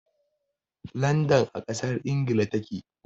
Landan a ƙasar Ingila ta ke.